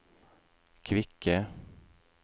kvikke